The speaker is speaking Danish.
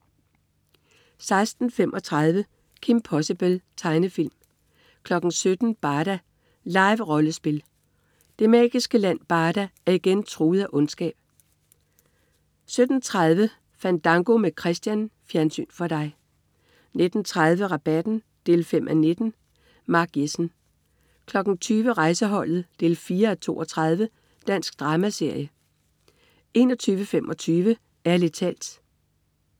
16.35 Kim Possible. Tegnefilm 17.00 Barda. Live-rollespil. Det magiske land Barda er igen truet af ondskab 17.30 Fandango med Christian. Fjernsyn for dig 19.30 Rabatten 5:19. Mark Jessen 20.00 Rejseholdet 4:32. Dansk dramaserie 21.25 Ærlig talt